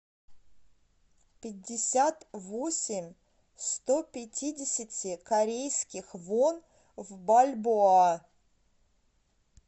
пятьдесят восемь сто пятидесяти корейских вон в бальбоа